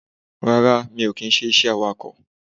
Rárá mi ò kì í se awakò